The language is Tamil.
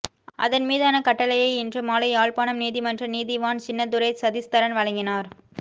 அதன் மீதான கட்டளையை இன்று மாலை யாழ்ப்பாணம் நீதிமன்ற நீதிவான் சின்னத்துரை சதீஸ்தரன் வழங்கினார்